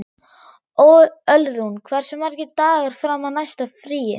Ölrún, hversu margir dagar fram að næsta fríi?